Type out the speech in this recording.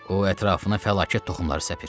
O ətrafına fəlakət toxumları səpir.